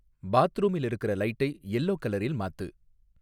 பாத்ரூமில் இருக்குற லைட்டை எல்லோ கலரில் மாத்து